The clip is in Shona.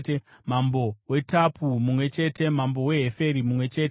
mambo weTapua mumwe chete mambo weHeferi mumwe chete